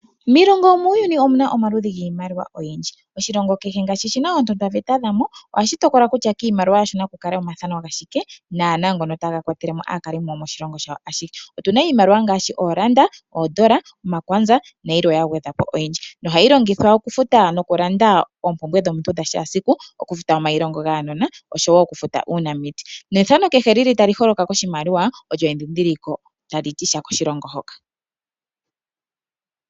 Miilongo yomuuyuni omuna omaludhi giimaliwa oyindji oshilongo kehe ngaashi shina oontotwa veta dhamo ohashi tokola kutya kiimaliwa okuna omathano gashike naana ngono taga kwatelemo aakalimo yomoshilongo shawo ashihe otuna iimaliwa ngaashi oodola ,omafo ,omakwaza nayilwe